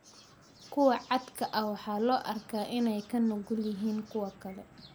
Kuwa caad ka ah waxaa loo arkaa inay ka nugul yihiin kuwa kale.